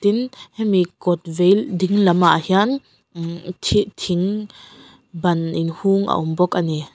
tin hemi kawt vei ding lamah hian ummh thi thing ban inhung a awm bawk a ni.